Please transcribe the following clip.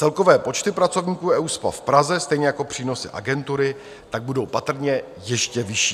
Celkové počty pracovníků EUSPA v Praze, stejně jako přínosy agentury tak budou patrně ještě vyšší.